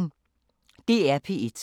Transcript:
DR P1